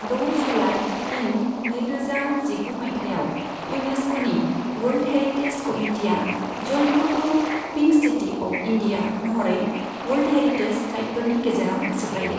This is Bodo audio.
द' जुलाई इं नैरोजा जिगु माइथायाव, इउनेस्क'नि वर्ल्ड हेरिटेज कमिटिआ जयपुरखौ पिंक सिटि अफ इन्डिया महरै वर्ल्ड हेरिटेज साइटफोरनि गेजेराव सोफायो।